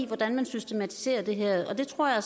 hvordan man systematiserer det her det tror jeg